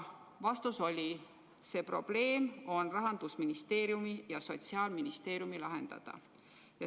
Vastus oli, et see probleem on Rahandusministeeriumi ja Sotsiaalministeeriumi lahendada.